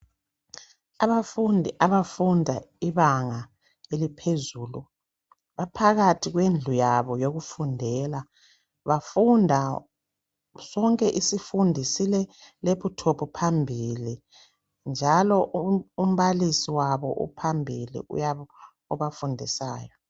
Abafundi abafunda ibanga eliphezulu baphakathi kwendlu yabo yokufundela. Sonke isifundi sile laptop phambili njalo umbalisi wabo uphambili obafundisayo